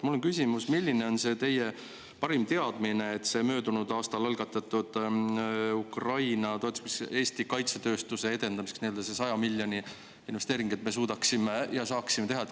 Mul on küsimus, milline on teie parim teadmine selle möödunud aastal Ukraina toetamiseks algatatud Eesti kaitsetööstuse edendamise ja 100-miljonilise investeeringu kohta, mis me suudaksime ja saaksime teha.